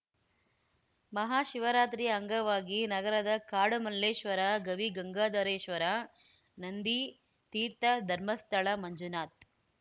ಮಹಾಶಿವರಾತ್ರಿಯ ಅಂಗವಾಗಿ ನಗರದ ಕಾಡುಮಲ್ಲೇಶ್ವರ ಗವಿಗಂಗಾಧರೇಶ್ವರ ನಂದಿ ತೀರ್ಥ ಧರ್ಮಸ್ಥಳ ಮಂಜುನಾಥ್